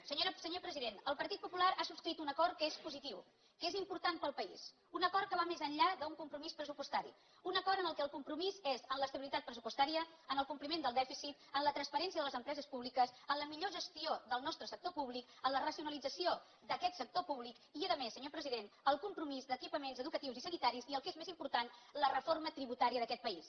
senyor president el partit popular ha subscrit un acord que és positiu que és important per al país un acord que va més enllà d’un compromís pressupostari un acord en què el compromís és en l’estabilitat pressupostària en el compliment del dèficit en la transparència de les empreses públiques en la millor gestió del nostre sector públic en la racionalització d’aquest sector públic i a més senyor president el compromís d’equipaments educatius i sanitaris i el que és més important la reforma tributària d’aquest país